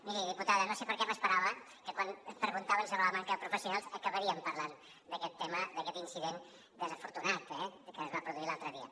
miri diputada no sé per què m’esperava que quan em preguntaven sobre la manca de professionals acabaríem parlant d’aquest tema d’aquest incident desafortunat que es va produir l’altre dia